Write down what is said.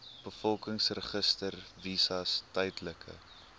bevolkingsregister visas tydelike